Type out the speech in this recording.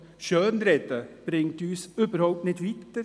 Schönreden bringt uns nicht weiter.